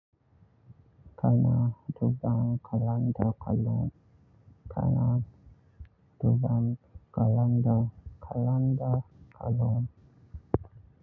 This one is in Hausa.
Kana duban kalanda kullum. Kana duban kalanda kalanda kalon.